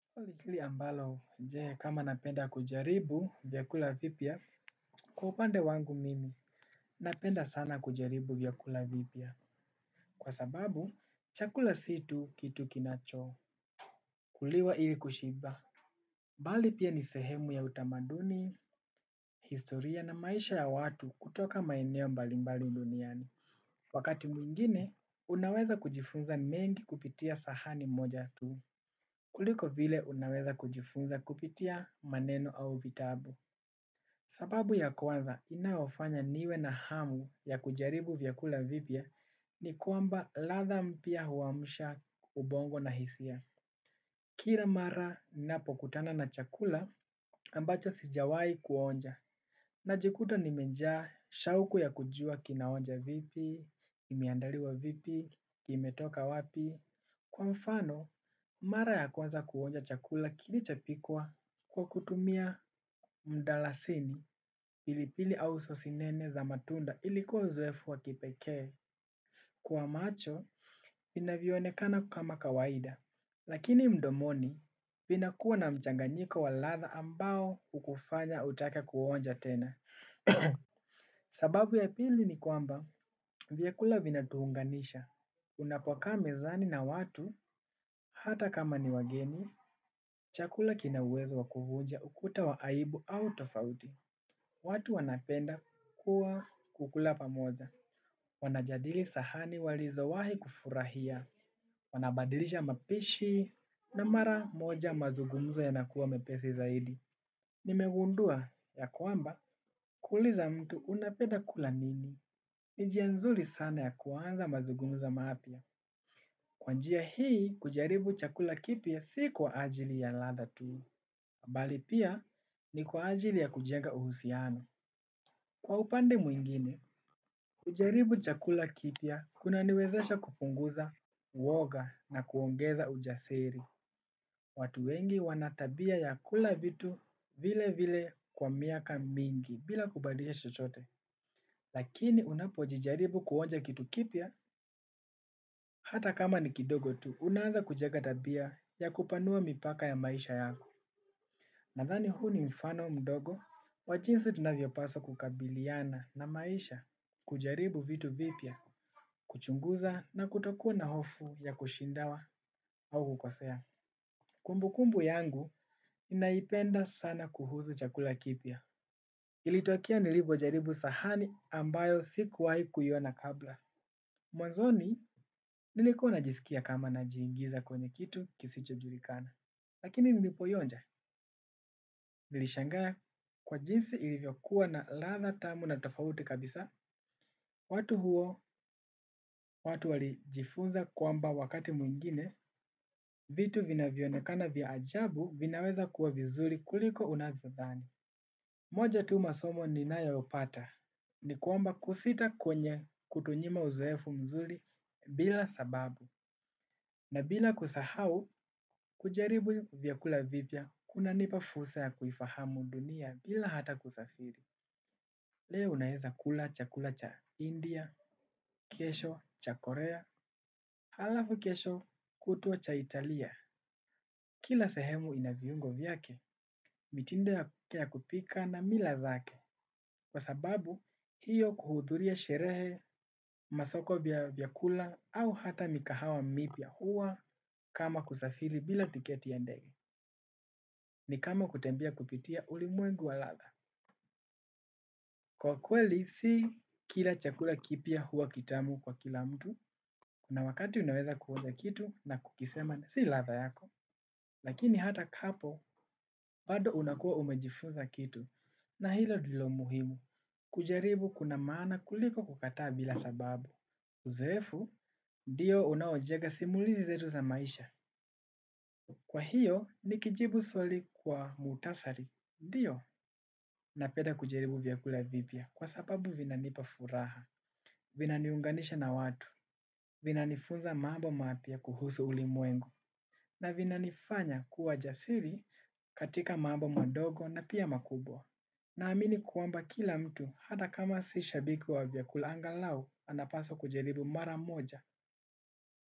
Swali ambalo je? Kama napenda kujaribu vyakula vipya. Kwa upande wangu mimi napenda sana kujaribu vyakula vipya, kwa sababu chakula si tu kitu kinachokuliwa ili kushiba. Bali pia ni sehemu ya utamaduni, historia na maisha ya watu kutoka maeneo mbali mbali duniani. Wakati mwingine unaweza kujifunza mengi kupitia sahani moja tu, kuliko vile unaweza kujifunza kupitia maneno au vitabu. Sababu ya kwanza inayofanya niwe na hamu ya kujaribu vyakula vipya, ni kwamba ladha mpya huamsha ubongo na hisia. Kila mara ninapokutana na chakula ambacho sijawahi kuonja. Najikuta nimejaa shauku ya kujua kinaonja vipi? Imeandaliwa vipi? Imetoka wapi? Kwa mfano, mara ya kwanza kuonja chakula kilichopikwa kwa kutumia mdalasini, pilipili au sosinene za matunda, ilikuwa uzoefu wa kipekee. Kwa macho, vinavyoonekana kama kawaida. Lakini mdomoni, vinakuwa na mchanganyiko wa ladha ambao, hukufanya utake kuonja tena. Sababu ya pili ni kwamba, vyakula vinatuunganisha. Unapokaa mezani na watu, hata kama ni wageni, chakula kina uwezo wa kuvunja ukuta wa aibu au tofauti. Watu wanapenda kuwa kukula pamoja. Wanajadili sahani walizowahi kufurahia. Wanabadilisha mapishi na mara moja mazugumzo yanakuwa mepesi zaidi. Nimegundua ya kwamba, kuuliza mtu "unapenda kula nini?" Ni njia nzuri sana ya kuanza mazugumzo mapya. Kwa njia hii, kujaribu chakula kipya si kwa ajili ya ladha tu. Mbali pia, ni kwa ajili ya kujenga uhusiano. Kwa upande mwingine, kujaribu chakula kipya, kunaniwezesha kupunguza uoga na kuongeza ujasiri. Watu wengi wana tabia ya kula vitu vile vile kwa miaka mingi, bila kubadilisha chochote. Lakini unapojijaribu kuonja kitu kipya, hata kama ni kidogo tu, unaanza kujenga tabia ya kupanua mipaka ya maisha yako. Nadhani huu ni mfano mdogo, wa jinsi tunavyopaswa kukabiliana na maisha. Kujaribu vitu vipya, kuchunguza na kutokuwa na hofu ya kushindwa au kukosea. Kumbukumbu yangu ninaipenda sana kuhusu chakula kipya. Ilitokea nilipojaribu sahani ambayo si kuwahi kuiona kabla. Mwanzoni nilikuwa najisikia kama najiingiza kwenye kitu kisichojulikana, lakini nilipoionja, nilishangaa kwa jinsi ilivyokuwa na ladha tamu na tofauti kabisa. Watu huo, watu walijifunza kwamba wakati mwingine vitu vinavyoonekana vya ajabu vinaweza kuwa vizuri kuliko unavyo dhani. Moja tu masomo ninayopata. Ya kwamba kusita kufanya hutunyima uzoefu mzuri bila sababu. Na bila kusahau, kujaribu vyakula vipya, kunanipa fursa ya kuifahamu dunia bila hata kusafiri. Leo unaeza kula chakula cha India, kesho cha Korea, halafu kesho kutwa cha Italia. Kila sehemu ina viungo vyake, mitindo ya kupika na mila zake. Kwa sababu, hiyo kuhuduria sherehe, masoko ya vyakula, au hata mikahawa mipya huwa kama kusafiri bila tiketi ya ndege. Ni kama kutembea kupitia ulimwengu wa ladha. Kwa kweli, si kila chakula kipya huwa kitamu kwa kila mtu. Kuna wakati unaweza kuonja kitu na kusema si ladha yako. Lakini hata hapo, bado unakuwa umejifunza kitu. Na hilo ndilo muhimu. Kujaribu kuna maana kuliko kukataa bila sababu. Uzoefu, ndio unaojenga simulizi zetu za maisha. Kwa hiyo, nikijibu swali kwa muhtasari ndio. Napenda kujaribu vyakula vipya kwa sababu vinanipa furaha, vinaniunganisha na watu, vinanifunza mambo mapya kuhusu ulimwengu na vinanifanya kuwa jasiri katika mambo madogo na pi makubwa. Naamini kwamba kila mtu, hata kama si shabiki wa vyakula angalau, anapaswa kujaribu mara moja.